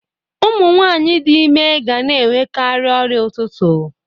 Ụmụ nwanyị dị ime ga na-enwekarị ọrịa ụtụtụ